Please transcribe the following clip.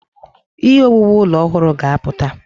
Ihe owuwu ụlọ ọhụrụ ga-apụta.